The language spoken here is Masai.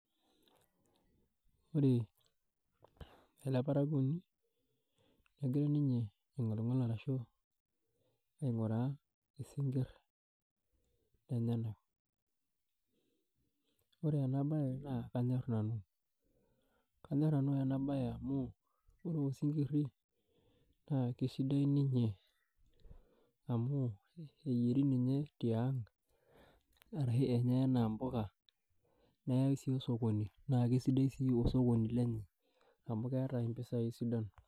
Ore eleparakuoni negira ninye aing'oling'ol arashu aing'uraa isinkirr lenyenak. Ore ena bae na kanyorr nanu, kanyorr nanu ena bae amu ore osinkirri na kesidai ninye amu eyieri ninye tiang' arashu eyieri anaa mpuka neyai si osokoni na kesidai osokoni lenye amu keeta impisai sidan.